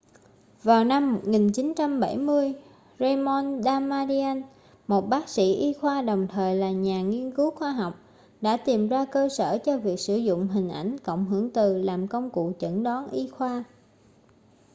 vào năm 1970 raymond damadian một bác sĩ y khoa đồng thời là nhà nghiên cứu khoa học đã tìm ra cơ sở cho việc sử dụng hình ảnh cộng hưởng từ làm công cụ chẩn đoán y khoa